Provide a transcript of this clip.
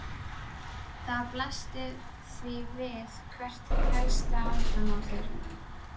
Það blasti því við hvert helsta vandamál þeirra var.